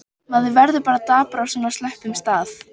Maður verður bara dapur á svona slöppum stað.